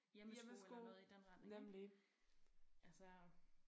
Hjemmesko eller noget i den retning ik altså